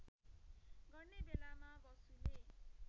गर्ने बेलामा बसुले